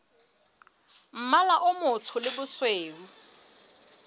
mmala o motsho le bosweu